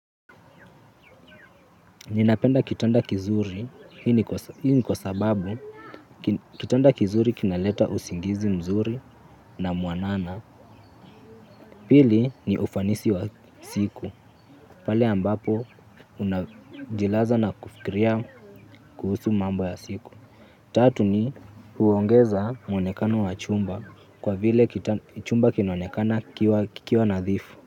Ninapenda kitanda kizuri. Hii ni kwa sababu kitanda kizuri kinaleta usingizi mzuri na mwanana. Pili ni ufanisi wa siku, pale ambapo unajilaza na kufikiria kuhusu mambo ya siku. Tatu ni huongeza muonekano wa chumba kwa vile chumba kinaonekana kikiwa nadhifu.